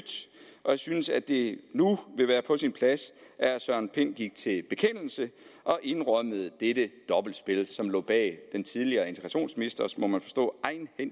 og jeg synes at det nu vil være på sin plads at herre søren pind gik til bekendelse og indrømmede dette dobbeltspil som lå bag den tidligere integrationsministers må man forstå